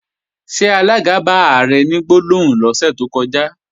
Ṣé alága bá Ààrẹ ní gbólóhùn lọ́sẹ̀ tó kọjá?